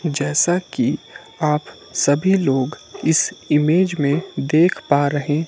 जैसा कि आप सभी लोग इस ईमेज में देख पा रहे--